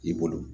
I bolo